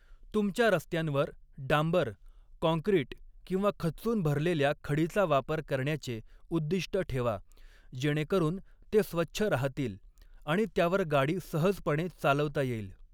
तुमच्या रस्त्यांवर डांबर, काँक्रीट किंवा खच्चून भरलेल्या खडीचा वापर करण्याचे उद्दिष्ट ठेवा, जेणेकरून ते स्वच्छ राहतील आणि त्यावर गाडी सहजपणे चालवता येईल.